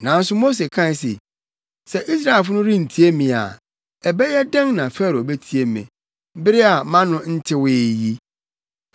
Nanso Mose kae se, “Sɛ Israelfo no rentie me a, ɛbɛyɛ dɛn na Farao betie me, bere a mʼano ntewee yi?”